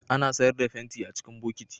Ana sayar da fenti a cikin bokiti